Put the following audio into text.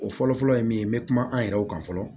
O fɔlɔ-fɔlɔ ye min ye n bɛ kuma an yɛrɛw kan fɔlɔ